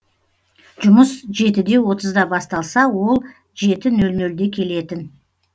жұмыс жеті де отызда басталса ол жеті нөл нөлде келетін